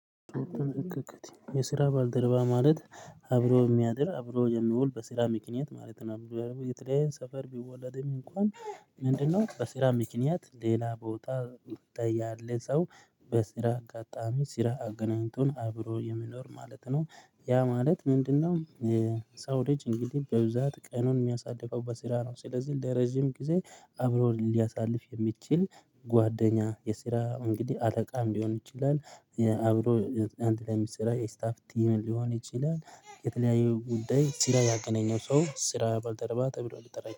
የስራ ባልደረባ ማለት አብሮ የሚያድር አብሮ የሚውል በስራ ምክንያት ማለት ነው የተለያየ ሰፈር ቢወለድም እንኳን? ምንድነው በስራ ምክንያት ሌላ ቦታ ያለ ሰው በስራ አጋጣሚ ስራ አገናኝቶን አብሮ የሚኖር ማለት ነው ያ ማለት ምንድነው? ሳውዲጅ እንግዲህ በብዛት ቀኑን የሚያሳድፈው በስራ ነው ስለዚህ ለረጅም ጊዜ አብሮ ሊያሳልፍ የሚችል ጓደኛ የስራ እንግዲህ አለቃም ሊሆን ይችላል። አብሮ አንድ ላይ ስታፍ ቲም ሊሆን ይችላል። የተለያዩ ጉዳይ ስራ ያገኘው ሰው ስራ ባልደረባ ተብሎ ሊጠራ ይችላል